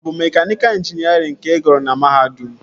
Ọ bụ mekaniika ịnjinierịn ka ị gụrụ na mahadum?